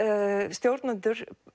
stjórnendur